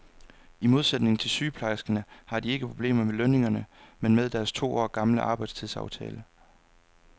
I modsætning til sygeplejerskerne har de ikke problemer med lønningerne, men med deres to år gamle arbejdstidsaftale.